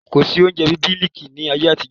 Kòsí oúnjẹ bí Mílíkì ni ayé àtijọ́